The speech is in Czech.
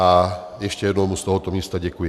A ještě jednou mu z tohoto místa děkuji. .